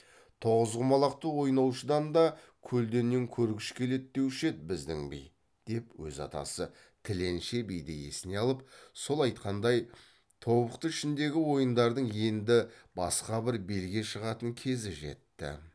тоғыз құмалақты ойнаушыдан да көлденең көргіш келеді деуші еді біздің би деп өз атасы тіленші биді есіне алып сол айтқандай тобықты ішіндегі ойындардың енді басқа бір белге шығатын кезі жетті